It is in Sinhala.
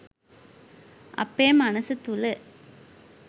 අපේ මනස තුළ